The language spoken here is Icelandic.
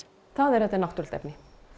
það er að þetta er náttúrulegt efni